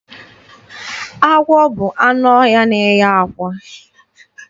Agwọ bụ anụ ọhịa na-enye àkwá.